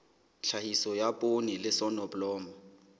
tlhahiso ya poone le soneblomo